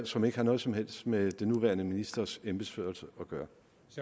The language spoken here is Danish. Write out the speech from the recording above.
som ikke har noget som helst med den nuværende ministers embedsførelse at gøre